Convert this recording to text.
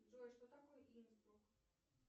джой что такое инсбрук